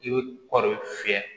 I bɛ kɔɔri fiyɛ